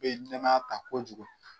nɛmaya ta kojugu.